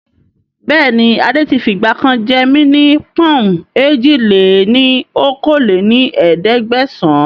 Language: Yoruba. Bẹ́ẹ̀ni adé tí fi ìgbàkan jẹ́ mí ní pọ̀n-ùn èjì-lé-ní-okòó lé ní ẹ̀ẹ́dẹ́gbẹ́sán